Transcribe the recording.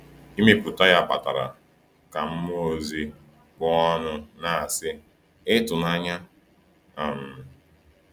Ịmepụta ya kpatara ka mmụọ ozi kpuo ọnụ na-asị, ‘Ịtụnanya!’ um